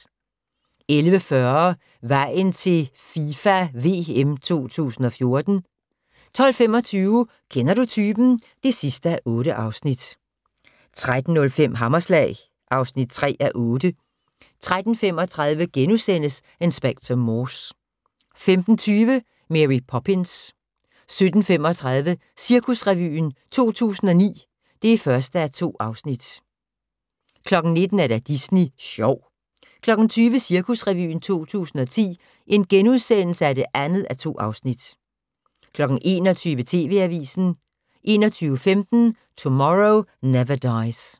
11:40: Vejen til FIFA VM 2014 12:25: Kender du typen? (8:8) 13:05: Hammerslag (3:8) 13:35: Inspector Morse * 15:20: Mary Poppins 17:35: Cirkusrevyen 2009 (1:2) 19:00: Disney sjov 20:00: Cirkusrevyen 2010 (2:2)* 21:00: TV-avisen 21:15: Tomorrow Never Dies